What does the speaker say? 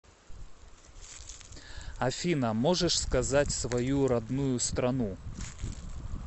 афина можешь сказать свою родную страну